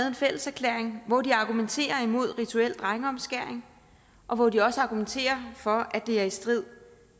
en fælles erklæring hvor de argumenterer imod rituel drengeomskæring og hvor de også argumenterer for at det er i strid